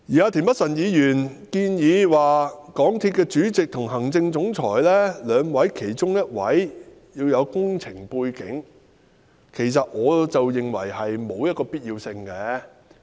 至於田北辰議員建議港鐵公司主席及行政總裁兩位的其中一位應具備工程背景，其實我認為並沒有此必要。